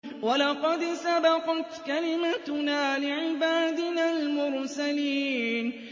وَلَقَدْ سَبَقَتْ كَلِمَتُنَا لِعِبَادِنَا الْمُرْسَلِينَ